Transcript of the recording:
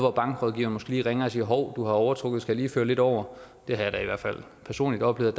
at bankrådgiveren måske lige ringer og siger hov du har overtrukket skal jeg lige føre lidt over jeg har da i hvert fald personligt oplevet